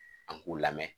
An k'u lamɛn